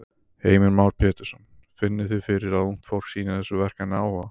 Heimir Már Pétursson: Finnið þið fyrir að ungt fólk sýnir þessu verkefni áhuga?